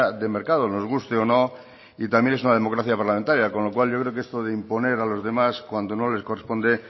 de mercado nos guste o no y también es una democracia parlamentaria con lo cual yo creo que esto de imponer a los demás cuando no les corresponde